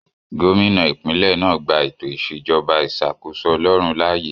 Gómìnà ìpínlẹ̀ náà gbà ètò ìṣèjọba ìṣàkóso ọlọrun láàyè